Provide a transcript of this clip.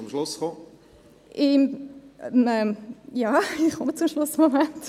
Ja, ich komme zum Schluss, Moment.